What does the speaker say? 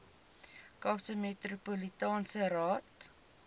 kaapse metropolitaanse raad